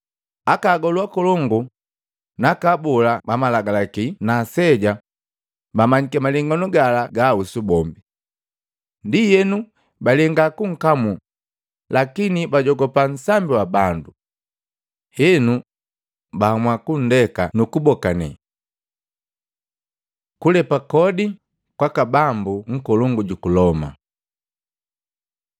Aka agolu akolongu naka abola bamalagalaki na aseja bamanyiki malenganu gala gaahusu bombi. Ndienu balenga kunkamuu, lakini bugujogopa nsambi wa bandu. Henu, baamua kunndeka nukubokane. Kulepa kodi kwaka Bambu nkolongu juku Loma Matei 22:15-22; Luka 20:20-26